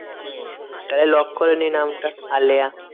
হম তাহলে lock করে নি নামটা আলেয়া।